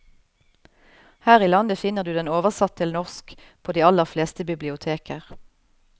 Her i landet finner du den oversatt til norsk på de aller fleste biblioteker.